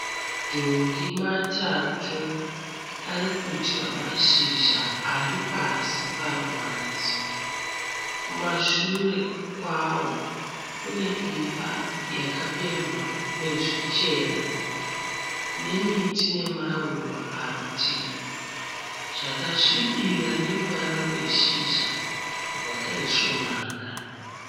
Madhongi matatu arikudya mashizha aripasi paruvanzi. Kumashure kwawo kune imba yakapendwa nezvichena nemiti nemaruva paruritivi zvakasvibira neruvara rweshizha rwakaisvonaka.